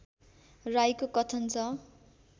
राईको कथन छ